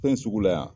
Fɛn sugu la yan